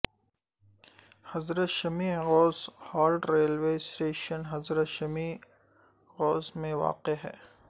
حضرت Shama Ghaus halt railway station Hazrat Shama Ghaus میں واقع ہے